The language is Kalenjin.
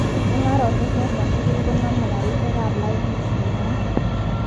Mungarosiek choto tugul koname karisiek ab lainit", kimwa.